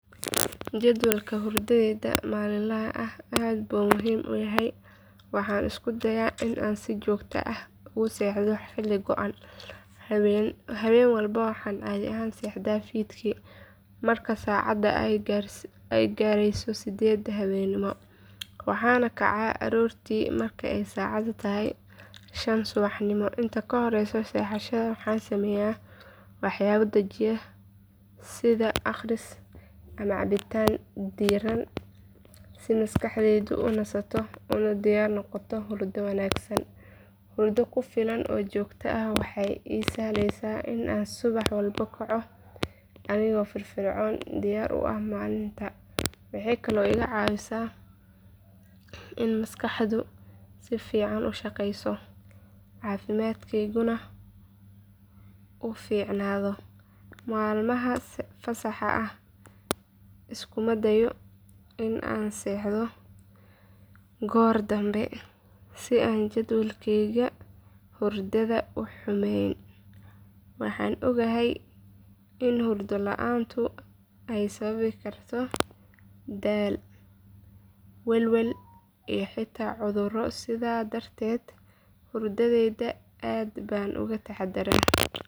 Jadwalka hurdadayda maalinlaha ah aad buu muhiim ii yahay waxaana isku dayaa in aan si joogto ah ugu seexdo xilli go’an habeen walba waxaan caadi ahaan seexdaa fiidkii marka saacadda ay gaarayso sideedda habeenimo waxaana kacaa aroortii marka ay saacadda tahay shan subaxnimo inta ka horeysa seexashada waxaan sameeyaa waxyaabo dejiya sida akhris ama cabbitaan diirran si maskaxdu u nasato una diyaar noqoto hurdo wanaagsan hurdo ku filan oo joogto ah waxay ii sahlaysaa in aan subax walba kaco anigoo firfircoon diyaar u ah maalinta waxay kaloo iga caawisaa in maskaxdu si fiican u shaqeyso caafimaadkayguna uu fiicnaado maalmaha fasaxa ah iskuma dayo in aan seexdo goor dambe si aan jadwalkayga hurdada u xumayn waxaan ogahay in hurdo la’aantu ay sababi karto daal welwel iyo xitaa cudurro sidaa darteed hurdayda aad baan uga taxadaraa.